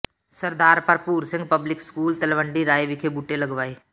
ਸਰਦਾਰ Bharpur Singh public school Talwandi Rai ਵਿਖੇ ਬੂਟੇ ਲਗਾਏ